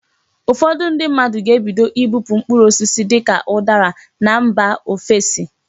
Ụfọdụ ndị mmadụ ga-ebido ibupu mkpụrụ osisi dịka ụdara na mba ofesi.